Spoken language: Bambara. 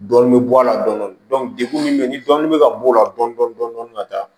Dɔɔni bɛ bɔ a la dɔni dɔni dekun min bɛ yen ni dɔɔnin bɛ ka b'o la dɔn dɔɔnin ka taa